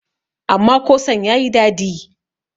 amma kosan ya yi dadi